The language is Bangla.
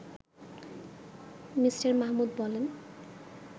মি. মাহমুদ বলেন